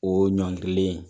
O ɲɔngirilen